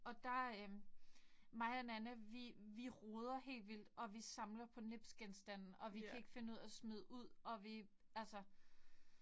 Og der øh mig og Nanna vi vi roder helt vildt og vi samler på nipsgenstande og vi kan ikke finde ud af at smide ud og vi altså